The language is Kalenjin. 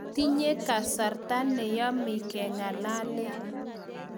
Tiketinye kasarta ne yemei kengalale